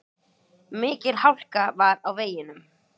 Mikil hálka var á veginum.